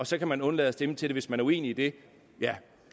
så kan man undlade at stemme til det hvis man er uenig i det ja